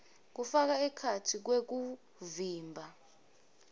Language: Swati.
kufaka ekhatsi kwekuvimba